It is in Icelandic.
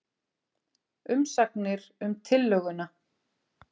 Umsagnir um tillöguna